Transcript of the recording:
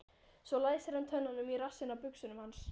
Svo læsir hann tönnunum í rassinn á buxunum hans.